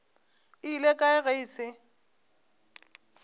ile kae ge e se